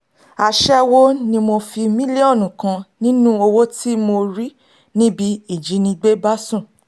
aṣẹ́wó ni mo fi mílíọ̀nù kan nínú owó tí mo rí níbi ìjínigbé bá sùn